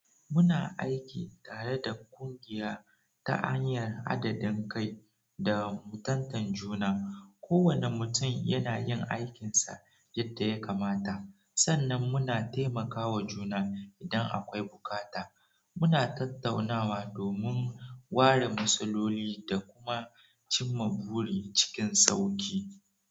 Muna aiki tare da ƙungiya ta hanyar adadin kai da mutuntakan juna. Kowane mutum yana yin aikinsa yadda ya kamata, sannan muna taimakawa juna idan akwai bukata. Muna tattaunawa domin ware matsaloli da kuma cimma buri cikin sauki.